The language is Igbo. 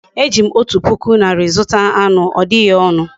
Ejim otu puku nari zuta any. odighi onu